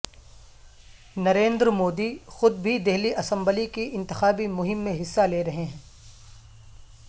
نریندر مودی خود بھی دہلی اسمبلی کی انتخابی مہم میں حصہ لے رہے ہیں